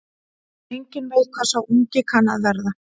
Enginn veit hvað sá ungi kann að verða.